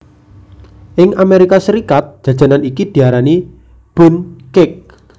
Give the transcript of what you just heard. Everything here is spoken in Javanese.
Ing Amerika Serikat jajanan iki diarani Bundt Cake